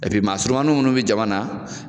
maasurunmanin minnu bɛ jamana